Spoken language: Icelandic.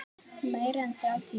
Meira en þrjátíu ár.